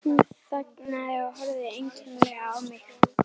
Hún þagnaði og horfði einkennilega á mig.